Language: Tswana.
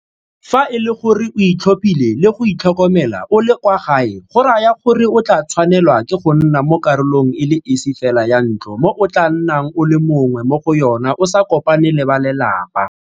Fa e le gore o itlhophile le go itlhokomela o le kwa gae go raya gore o tla tshwanelwa ke go nna mo karolong e le esi fela ya ntlo mo o tla nnang o le mongwe mo go yona o sa kopane le ba lelapa.